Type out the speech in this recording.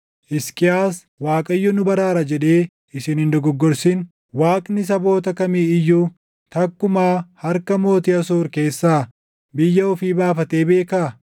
“Hisqiyaas, ‘ Waaqayyo nu baraara’ jedhee isin hin dogoggorsin; Waaqni saboota kamii iyyuu takkumaa harka mooticha Asoor keessaa biyya ofii baafatee beekaa?